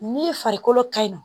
Ni farikolo ka ɲi nɔ